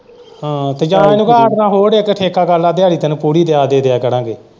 ਹਾਂ ਜਾ ਤਾਂ ਫੇਰ ਹਾਂਡੇ ਨਾਲ਼ ਹੋਰ ਇੱਕ ਠੇਕਾ ਕਰ ਲੈ ਦਿਹਾੜੀ ਤੈਨੂੰ ਪੂਰੀ ਜਾ ਦੇ ਦਿਆਂ ਕਰਾਂਗੇ।